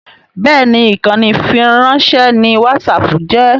Bẹ́ẹ̀ni ìkànnì ìfiránṣẹ́ ni whatsapp jẹ́